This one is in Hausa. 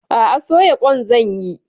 A'a, soya ƙwan zan yi.